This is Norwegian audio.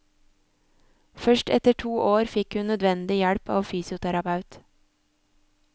Først etter to år fikk hun nødvendig hjelp av fysioterapeut.